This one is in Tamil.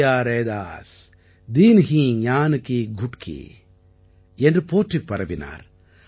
குரு மிலியா ரைதாஸ் தீன்ஹீ ஞான் கீ குட்கீ என்று போற்றிப் பரவினார்